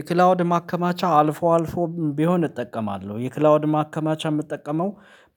የክላውድ ማከማቻ አልፎ አልፎ ቢሆን እጠቀማለሁ የክላውድ ማከማቻ የምጠቀመው